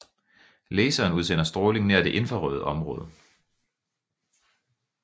Laseren udsender stråling nær det infrarøde område